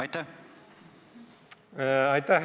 Aitäh!